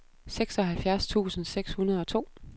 seksoghalvfjerds tusind seks hundrede og to